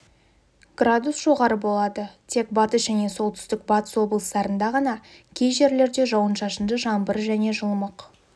градус жоғары болады тек батыс және солтүстік-батыс облыстарда ғана кей жерлерде жауын-шашынды жаңбыр және жылымық